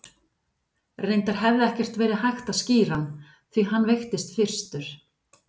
Reyndar hefði ekkert verið hægt að skíra hann, því að hann veiktist fyrstur.